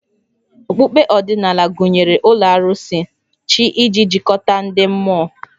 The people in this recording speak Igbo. Okpukpe ọdịnala gụnyere ụlọ arụsị, chi iji jikọta ndị mmụọ